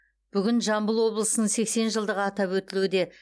бүгін жамбыл облысының сексен жылдығы атап өтілуде